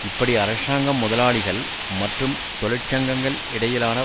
இப்படி அரசாங்கம் முதலாளிகள் மற்றும் தொழிற்சங்கங்கள் இடையிலான